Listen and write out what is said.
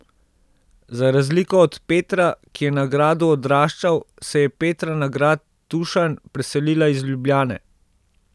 Za razliko od Petra, ki je na gradu odraščal, se je Petra na grad Tuštanj preselila iz Ljubljane.